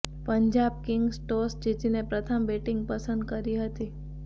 Punjab Kings toss જીતીને પ્રથમ batting પસંદ કરી હતી